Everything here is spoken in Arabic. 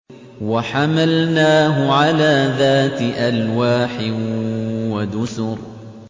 وَحَمَلْنَاهُ عَلَىٰ ذَاتِ أَلْوَاحٍ وَدُسُرٍ